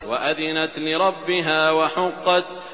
وَأَذِنَتْ لِرَبِّهَا وَحُقَّتْ